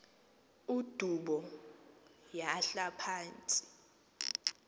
udubo yahla phantsi